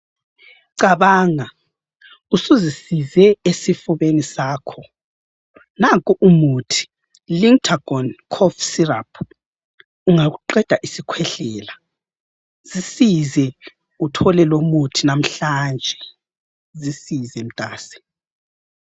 Cabanga usuzisise esifubeni sakho, nanko umuthi Lictagon Cough syrup ungakuqeda isikhwehlela. Zisize uthole lomuthi namhlanje. Zisize mntase.